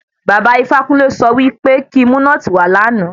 Baba Ifákúnle sọ wí pé kí n mu nọ́ọ̀tì wá lánàá.